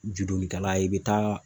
Judonnitala i bɛ taa